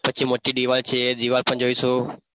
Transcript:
પછી મોટી દિવાલ છે એ દિવાલ પણ જોઈશું.